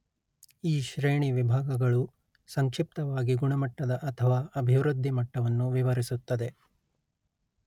ಈ ಶ್ರೇಣಿ ವಿಭಾಗಗಳು ಸಂಕ್ಷಿಪ್ತವಾಗಿ ಗುಣಮಟ್ಟದ ಅಥವಾ ಅಭಿವೃದ್ಧಿ ಮಟ್ಟವನ್ನು ವಿವರಿಸುತ್ತದೆ